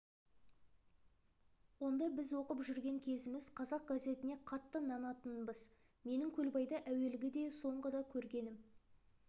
онда біз оқып жүрген кезіміз қазақ газетіне қатты нанатынбыз менің көлбайды әуелгі де соңғы да көргенім